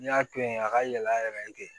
N'i y'a to yen a ka yɛlɛ a yɛrɛ ye ten